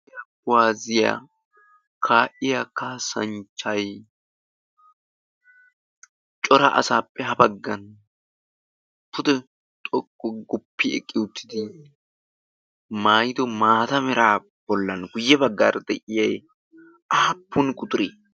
kushe kuwaaziyaa ka'iyaa kasaachchay cora asaappe ha baggaan pude xooqu gi guuppi eqqi uttidi maayido maata meraa bollaan guyye de'iyaay quxuree aappun quxuree?